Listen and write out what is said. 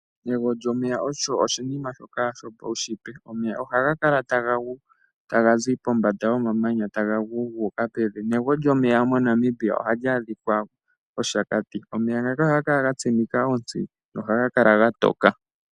Egwo lyomeya osho oshinima shoka shopaunshitwe. Omeya ohaga kala taga gu taga zi pombanda yomamanya taga gu gu uka pevi. Negwo lyomeya moNamibia ohali adhika mOshakati. Omeya ngaka ohaga kala ga tsimika ontsi nohaga kala ga toka.